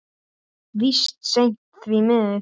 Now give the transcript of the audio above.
Víst seint, því miður.